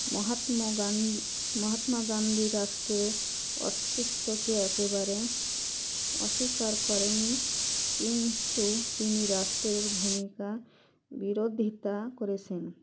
মহাত্ম গান মহাত্মা গান্ধী রাষ্ট্রে অস্তিত্বকে একেবারে অস্বীকার করেনি কিন্তু তিনি রাষ্ট্রের ভুমিকা বিরোধিতা করেছেন